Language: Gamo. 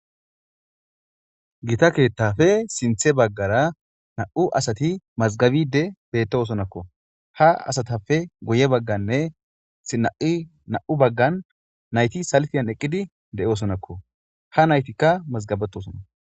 Gita keettafe sinththe baggara nam"u asati mazgabidi bettosonakko. ha asatafe guye bagganne na'i na'u baggan nayti salfiyan eqqidi de'oosonakko. ha naytikka mazgabetosona.